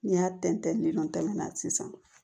N'i y'a tɛntɛn ni sisan